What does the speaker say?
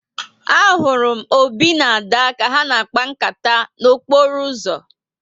A hụrụ m Obi na Ada ka ha n'akpa nkata n'okporo uzo